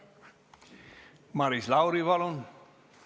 Maris Lauri, palun!